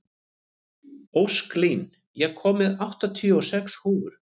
Ósklín, ég kom með áttatíu og sex húfur!